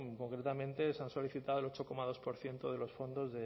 concretamente se ha solicitado el ocho coma dos por ciento de los fondos